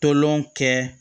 Tolɔn kɛ